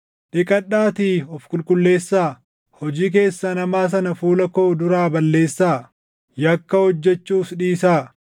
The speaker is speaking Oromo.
Dhiqadhaatii of qulqulleessaa. Hojii keessan hamaa sana fuula koo duraa balleessaa! Yakka hojjechuus dhiisaa;